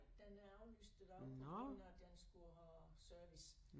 Den er aflyst i dag på grund af den skulle have service